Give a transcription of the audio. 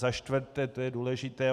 Za čtvrté - to je důležité.